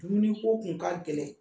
Dumuni ko kun ka gɛlɛn.